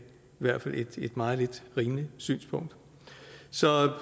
hvert fald et meget lidt rimeligt synspunkt så